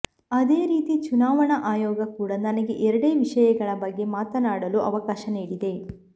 ಅದೇ ರೀತಿ ಚುನಾವಣಾ ಆಯೋಗ ಕೂಡ ನನಗೆ ಎರಡೇ ವಿಷಯಗಳ ಬಗ್ಗೆ ಮಾತನಾಡಲು ಅವಕಾಶ ನೀಡಿದೆ